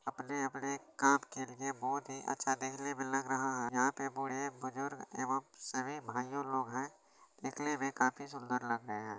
अपने-अपने काम के लिए बहोत ही अच्छा देखने में लग रहा है यहां पे बूढ़े बुजुर्ग एवम सभी भाइयो लोग है निकले हुए काफी सुंदर लग रहे है।